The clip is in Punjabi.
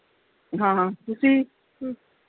ਹਾਂ ਹਾਂ ਤੁਸੀ ਵੀ